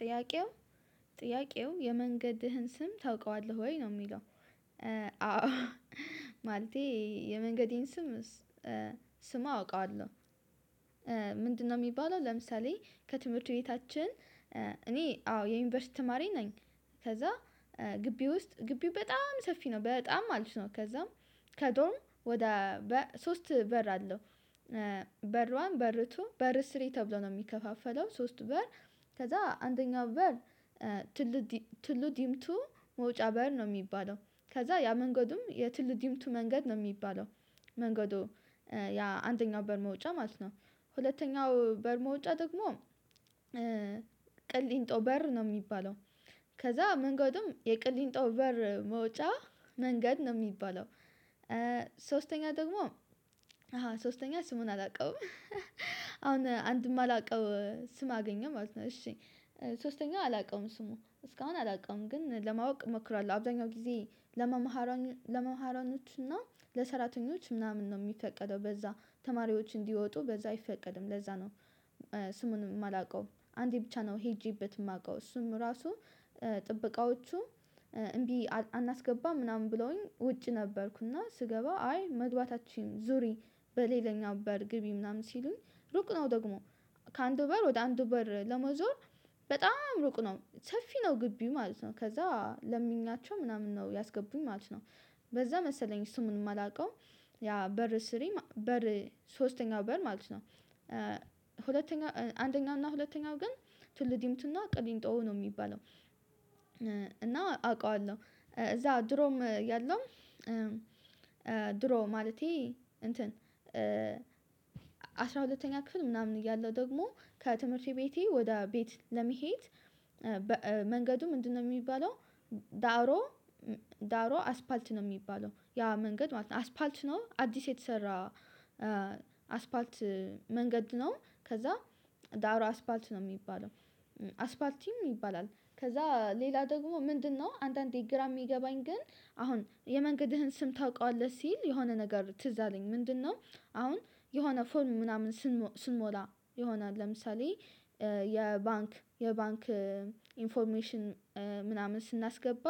ጥያቄው? ጥያቄው የመንገድህን ስም ታውቀዋለህ ወይ ነው የሚለው አዎ ማለቴ የመንገዴን ስም ስም አውቃለሁ። ምንድነው የሚባለው ለምሳሌ ከትምህርት ቤታችን እኔ አዎ የዩኒቨርሲቲ ተማሪ ነኝ። ከዛ ግቢ ውስጥ ግቢው በጣም ሰፊ ነው በጣም ማለት ነው ከዛም ከዶርም ወደ ሶስት በር አለው። በርዋን በርቱ በር ስሪ ተብሎ ነው የሚከፋፈለው ሶስት በር ከዛ አንደኛው በር ትሉ ትሉ ድምቱ መውጫ በር ነው የሚባለው። ከዛ ያ መንገዱም የትሉ ድምቱ መንገድ ነው የሚባለው። መንገዱ ያ አንደኛው በር መውጫ ማለት ነው። ሁለተኛው በር መውጫ ደግሞ ቅልንጦ በር ነው የሚባለው። ከዛ መንገድም የቅልንጦ በር መውጫ መንገድ ነው የሚባለው። ሶስተኛ ደግሞ አሃ ሶስተኛ ስሙን አላውቀውም አሁን አንድም አላውቀው ስም አገኘው ማለት ነው። እሺ ሶስተኛው አላውቀውም ስሙ እስካሁን አላውቀውም ግን ለማወቅ እመክራለሁ አብዛኛው ጊዜ ለመመሃረን ለመመሃረኖች እና ለሰራተኞች ምናምን ነው የሚፈቀደው በዛ ተማሪዎች እንዲወጡ በዛ አይፈቀድም ለዛ ነው። ስሙን የማላውቀው አንዴ ብቻ ነው ሄጄበት የማውቀው እሱም ራሱ ጥበቃዎቹ እምቢ አናስገባም ምናምን ብለውኝ ውጭ ነበርኩና። ስገባ አይ መግባታችን ዙሪ በሌለኛው በር ግቢ ምናምን ሲሉኝ ሩቅ ነው ደግሞ ከአንዱ በር ወደ አንዱ በር ለመዞር በጣም ሩቅ ነው ሰፊ ነው ግቢው ማለት ነው። ከዛ ለምኛቸው ምናምን ነው ያስገቡኝ ማለት ነው በዛ መሰለኝ ስሙን የማላውቀው ያ በር ስሪ በር ሶስተኛው በር ማለት ነው። ሁለተኛው አንደኛውና ሁለተኛው ግን ትሉ ዲምቱና ቅሊንጦ ነው የሚባለው። እና አውቀዋለሁ እዛ ድሮም ያለው ድሮ ማለቴ እንትን ሁለተኛ ክፍል ምናምን እያለሁ ደግሞ ከትምህርቴ ቤቴ ወደ ቤት ለመሄድ መንገዱ ምንድነው? የሚባለው ዳሮ ዳሮ አስፓልት ነው የሚባለው ያ መንገድ ማለት ነው አስፋልት ነው አዲስ የተሰራ። አስፋልት መንገድ ነው ከዛ ዳሮ አስፋልት ነው የሚባለው። አስፋልቲም ይባላል። ከዛ ሌላ ደግሞ ምንድነው አንዳንዴ ግራ የሚገባኝ ግን አሁን የመንገድህን ስም ታውቃለህ ሲል የሆነ ነገር ትዝ አለኝ ምንድነው? አሁን የሆነ ፎርም ምናምን ስንሞላ ይሆናል ለምሳሌ የባንክ የባንክ ኢንፎርሜሽን ምናምን ስናስገባ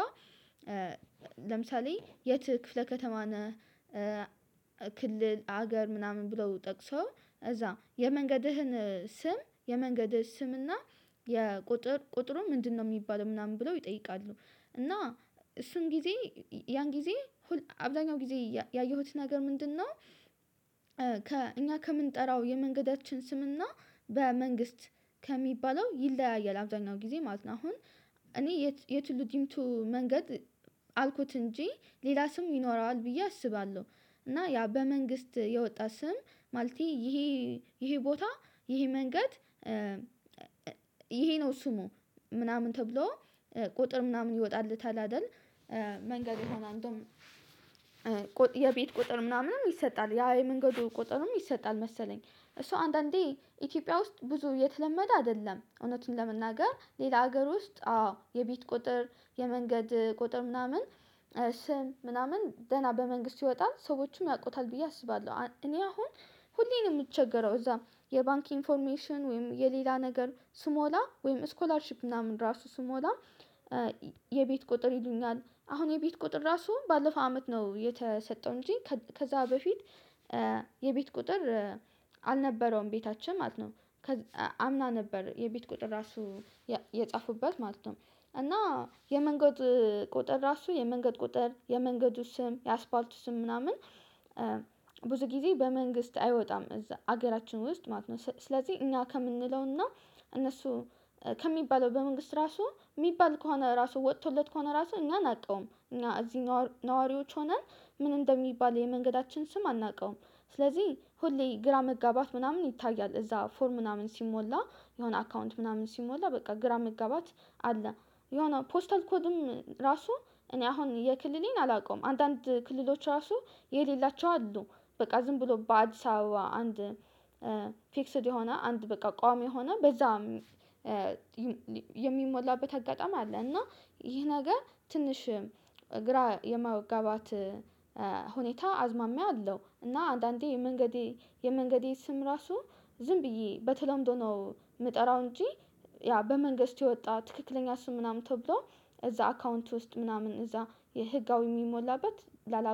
ለምሳሌ የት ክፍለ ከተማ ነህ? ክልል ሀገር ምናምን ብለው ጠቅሰው እዛ የመንገድህን ስም የመንገድ ስም እና የቁጥር ቁጥሩ ምንድነው የሚባለው ምናምን ብለው ይጠይቃሉ። እና እሱን ጊዜ ያን ጊዜ አብዛኛው ጊዜ ያየሁት ነገር ምንድነው? ከእኛ ከምንጠራው የመንገዳችን ስምና በመንግስት ከሚባለው ይለያያል አብዛኛው ጊዜ ማለት ነው። አሁን እኔ የት የትሉ ድምቱ መንገድ አልኩት እንጂ ሌላ ስም ይኖረዋል ብዬ አስባለሁ እና ያ በመንግስት የወጣ ስም ማለቴ ይሄ ይሄ ቦታ ይሄ መንገድ ይሄ ነው ስሙ ምናምን ተብሎ ቁጥር ምናምን ይወጣለታል አይደል? መንገድ የሆነ አንዱም የቤት ቁጥር ምናምንም ይሰጣል ያ የመንገዱ ቁጥርም ይሰጣል መሰለኝ እሱ አንዳንዴ ኢትዮጵያ ውስጥ ብዙ የተለመደ አይደለም እውነቱን ለመናገር ሌላ ሀገር ውስጥ አዎ የቤት ቁጥር የመንገድ ቁጥር ምናምን ስም ምናምን ደህና በመንግስት ይወጣል ሰዎችም ያውቁታል ብዬ አስባለሁ። እኔ አሁን ሁሌም የምቸገረው እዛም የባንክ ኢንፎርሜሽን ወይም የሌላ ነገር ስሞላ ወይም ስኮላርሺፕ ምናምን ራሱ ስሞላ የቤት ቁጥር ይሉኛል አሁን የቤት ቁጥር ራሱ ባለፈው አመት ነው የተሰጠው እንጂ ከዛ በፊት የቤት ቁጥር አልነበረውም ቤታችን ማለት ነው። አምና ነበር የቤት ቁጥር ራሱ የጻፉበት ማለት ነው። እና የመንገድ ቁጥር ራሱ የመንገድ ቁጥር የመንገዱ ስም የአስፋልቱ ስም ምናምን ብዙ ጊዜ በመንግስት አይወጣም እዛ ሀገራችን ውስጥ ማለት ነው። ስለዚህ እኛ ከምንለውና እነሱ ከሚባለው በመንግስት ራሱ የሚባል ከሆነ ራሱ ወጥቶለት ከሆነ ራሱ እኛን አናቀውም እኛ እዚህ ነዋሪዎች ሆነን ምን እንደሚባል የመንገዳችን ስም አናውቀውም። ስለዚህ ሁሌ ግራ መጋባት ምናምን ይታያል እዛ ፎርም ምናምን ሲሞላ የሆነ አካውንት ምናምን ሲሞላ በቃ ግራ መጋባት አለ። የሆነ ፖስታል ኮድም ራሱ እኔ አሁን የክልሌን አላውቀውም አንዳንድ ክልሎች ራሱ የሌላቸው አሉ። በቃ ዝም ብሎ በአዲስ አበባ አንድ ፊክስድ የሆነ አንድ በቃ ቋሚ ሆነ በዛም የሚሞላበት አጋጣሚ አለ። እና ይህ ነገ ትንሽ ግራ የማጋባት ሁኔታ አዝማሚያ አለው። እና አንዳንዴ የመንገዴ የመንገዴ ስም ራሱ ዝም ብዬ በተለምዶ ነው የምጠራው እንጂ። ያ በመንገስቱ የወጣ ትክክለኛ እሱ ምናምን ተብሎ እዛ አካውንት ውስጥ ምናምን እዛ የህጋዊ የሚሞላበት ላላውቅ